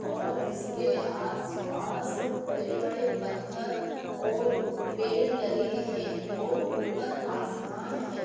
और उसके आस-पास बड़े-बड़े पत्थर और पेड़ लगे हैं और ऊपर आसमान है।